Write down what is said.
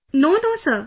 No no Sir